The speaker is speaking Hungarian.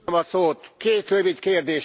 Két rövid kérdésem van.